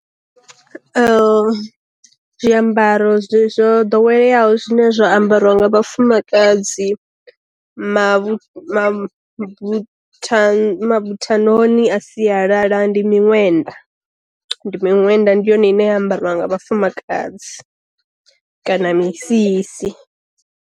Zwiambaro zwi zwo ḓoweleaho zwine zwa ambariwa nga vha fumakadzi, mavhu mavu mavuthanoni a sialala ndi miṅwenda, ndi miṅwenda ndi yone ine ya ambariwa nga vhafumakadzi kana misisi.